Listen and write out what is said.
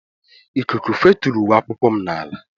Ikuku feturu uwe akwụkwọ m n'ala